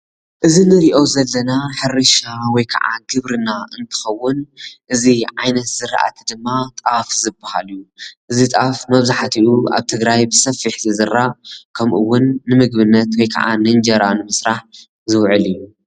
እዚ ንርእዮ ዘለና ሕርሻ ወይከዓ ግብርና እንትኸውን እዚ ዓይነት ዝራእቲ ድማ ጣፍ ዝበሃል እዩ። እዚ ጣፍ መብዛሕትኡ ኣብ ትግራይ ብሰፊሕ ዝዝራእ ከምእውን ንምግብነት ወይከዓ ንእንጀራ ንምሰራሕ ዝውዕል እዩ።